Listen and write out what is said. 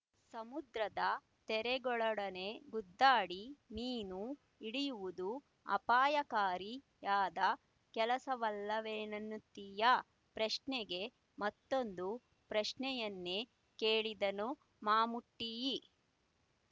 ಸಮುದ್ರದ ತೆರೆಗಳೊಡನೆ ಗುದ್ದಾಡಿ ಮೀನು ಹಿಡಿಯುವುದು ಅಪಾಯಕಾರಿಯಾದ ಕೆಲಸವಲ್ಲವೆನ್ನುತ್ತೀಯಾ ಪ್ರಶ್ನೆಗೆ ಮತ್ತೊಂದು ಪ್ರಶ್ನೆಯನ್ನೇ ಕೇಳಿದನು ಮಮ್ಮೂಟಿಯಿ